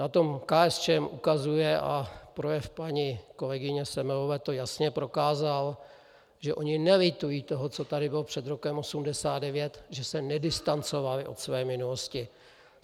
Na tom KSČM ukazuje a projev paní kolegyně Semelové to jasně prokázal, že oni nelitují toho, co tady bylo před rokem 1989, že se nedistancovali od své minulosti.